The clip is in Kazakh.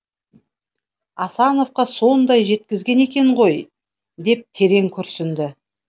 асановқа соныда жеткізген екен ғой деп терең күрсінді